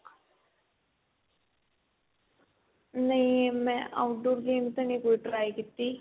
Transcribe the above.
ਨਹੀਂ ਮੈਂ outdoor games ਨਹੀਂ ਕੋਈ try ਕੀਤੀ